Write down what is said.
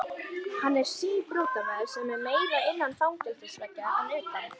Hann er síbrotamaður sem er meira innan fangelsisveggja en utan.